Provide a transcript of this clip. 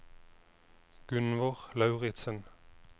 Gunnvor Lauritzen